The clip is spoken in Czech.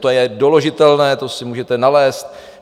To je doložitelné, to si můžete nalézt.